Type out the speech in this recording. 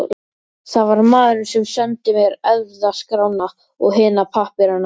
Það var maðurinn sem sendi mér erfðaskrána og hina pappírana.